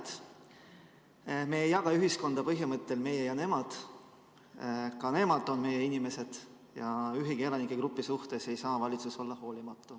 Te ütlesite, et me ei jaga ühiskonda põhimõttel "meie ja nemad", ka nemad on meie inimesed ja ühegi elanikegrupi suhtes ei tohi valitsus olla hoolimatu.